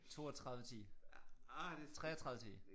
32 10 33 10